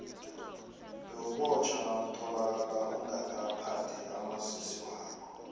bewubotjhwa nawutholakale ungakaphathi umazisi wakho